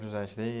José?